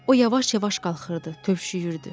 O yavaş-yavaş qalxırdı, tövşüyürdü.